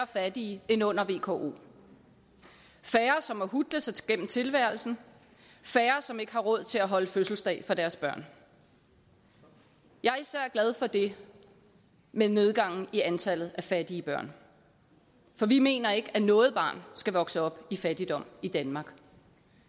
fattige end under vko færre som må hutle sig gennem tilværelsen færre som ikke har råd til at holde fødselsdag for deres børn jeg er især glad for det med nedgangen i antallet af fattige børn for vi mener ikke at noget barn skal vokse op i fattigdom i danmark